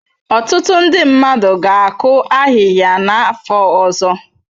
Ọtụtụ ndị mmadụ ga-akụ ahịhịa n'afọ ọzọ.